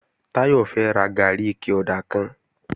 Táyọ̀ fẹ́ ra gàárì ike ọ̀dà kan